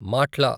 మాట్ల